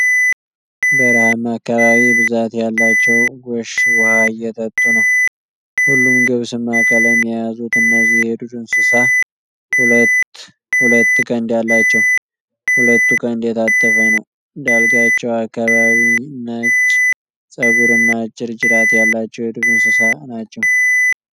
በረሀማ አካባቢ ብዛት ያላቸዉ ጎሽ ዉኃ እየጠጡ ነዉ። ሁሉም ገብስማ ቀለም የያዙት እነዚህ የዱር እንስሳ ሁለት ሁለት ቀንድ አላቸዉ። ሁለቱ ቀንድ የታጠፈ ነዉ። ዳልጋቸዉ አካባቢ ነጭ ፀጉር እና አጭር ጅራት ያላቸዉ የዱር እንስሳ ናቸዉ።